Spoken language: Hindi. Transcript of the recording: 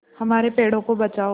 हमारे पेड़ों को बचाओ